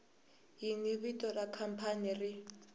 yini vito ra khampani ri